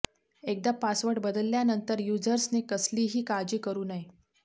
एकदा पासवर्ड बदलल्यानंतर यूझर्सने कसलीही काळजी करु नये